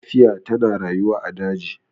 gafiya tana rayuwa a daji